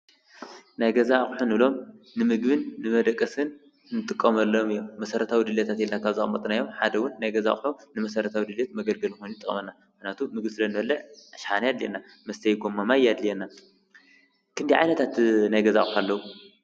ናይገዛ ኣቕሕንሎም ንምግብን ንመደቀስን እንጥቆመሎም እዮም ።መሠረታዊ ድልየታት ካብዘቀመኘጥናዮም ሓደ ውን ናይገዛሖ ንመሠረታዊ ድልት መገልገልኾኑ ጠመና መናቱ ምግሥለንበለዕ ሻሓ፣ የድልና መስተይ ጎም፣ መማይ ይድልና ክንዲዓይነታት ናይገዛሖኣለዉ